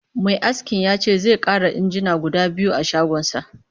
Mai askin ya ce zai ƙara injina guda biyu a shagonsa